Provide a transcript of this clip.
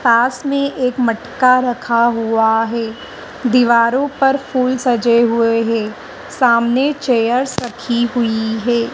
पास में एक मटका रखा हुआ है दीवारों पर फूल सजे हुए हैं सामने चेयर्स रखी हुई हैं।